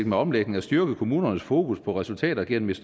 med omlægningen at styrke kommunernes fokus på resultater gennem et